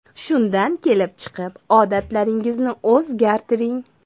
Shundan kelib chiqib odatlaringizni o‘zgartiring.